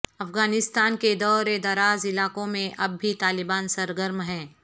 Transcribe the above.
افغانستان کے دور دراز علاقوں میں اب بھی طالبان سرگرم ہیں